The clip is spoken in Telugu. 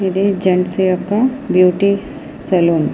ఇది జెంట్స్ యొక్క బ్యూటీ సలోన్ .